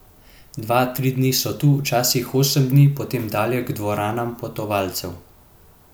Dva, tri dni so tu, včasi osem dni, potem dalje k dvoranam potovalcev!